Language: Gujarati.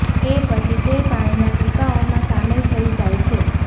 એ પછી તે પાણીના ટીપાઓમાં સામેલ થઈ જાય છે